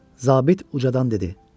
Zabit ucadan dedi: